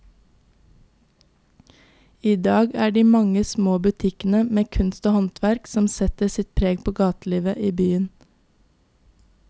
I dag er det de mange små butikkene med kunst og håndverk som setter sitt preg på gatelivet i byen.